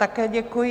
Také děkuji.